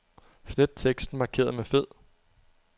Slet teksten markeret med fed.